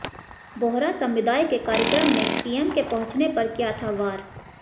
बोहरा समुदाय के कार्यक्रम में पीएम के पहुंचने पर किया था वार